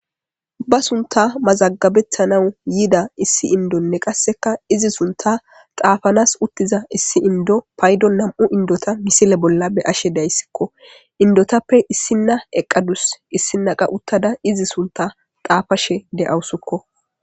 Ba sunta mazagabethanawu yiida issi indonne qasseka izi sunta xaafanas uttiza issi indo paydo nam7u indota misile bolla be ashe dayssikko indotappe issinna eqqadus issinnaqa uttada izi sunta xaafashe de'awusikko.